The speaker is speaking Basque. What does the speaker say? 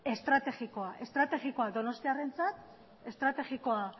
estrategikoa estrategiakoa donostiarrentzat estrategikoa